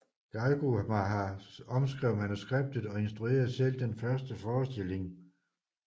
Geiogamah omskrev manuskriptet og instruerede selv den første forestilling